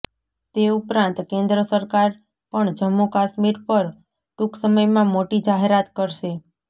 તે ઉપરાંત કેન્દ્ર સરકાર પણ જમ્મુ કાશ્મીર પર ટૂંકસમયમાં મોટી જાહેરાત કરશે